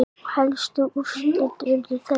Helstu úrslit urðu þessi